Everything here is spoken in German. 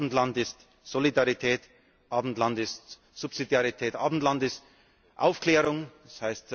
Abendland ist Solidarität, Abendland ist Subsidiarität, Abendland ist Aufklärung,